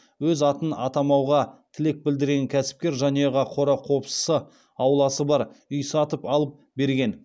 өз атын атамауға тілек білдірген кәсіпкер жанұяға қора қопсысы ауласы бар үй сатып алып берген